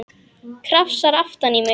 Krafsar aftan í mig.